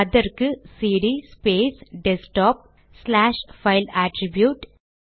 அதற்கு CD space desktop slash file attribute